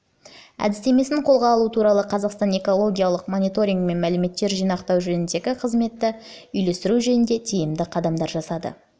әдістемесін қолға алу арқылы қазақстан экологиялық мониторинг пен мәліметтер жинақтау жөніндегі қызметті үйлестіру жөнінде тиімді қадамдар жасады